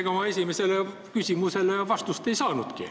Ega ma oma esimesele küsimusele vastust ei saanud.